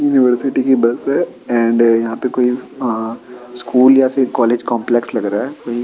University की bus है and यहाँ पे कोई अ स्कूल या फिर कॉलेज कॉम्प्लेक्स लग रहा है कोई।